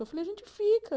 Eu falei, a gente fica.